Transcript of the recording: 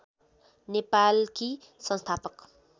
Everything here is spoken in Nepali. नेपालकी संस्थापक